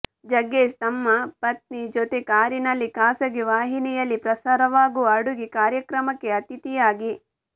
ಜಗ್ಗೇಶ್ ತಮ್ಮ ಪತ್ನಿ ಜೊತೆ ಕಾರಿನಲ್ಲಿ ಖಾಸಗಿ ವಾಹಿನಿಯಲ್ಲಿ ಪ್ರಸಾರವಾಗುವ ಅಡುಗೆ ಕಾರ್ಯಕ್ರಮಕ್ಕೆ ಅತಿಥಿಯಾಗಿ